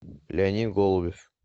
леонид голубев